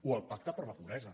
o el pacte per la pobresa